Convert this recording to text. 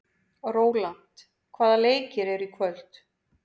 Rólant, hvaða leikir eru í kvöld?